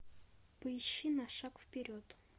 поищи на шаг вперед